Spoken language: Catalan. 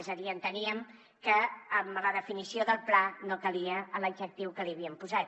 és a dir enteníem que amb la definició del pla no calia l’adjectiu que hi havíem posat